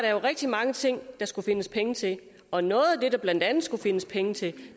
jo rigtig mange ting der skulle findes penge til og noget af det der blandt andet skulle findes penge til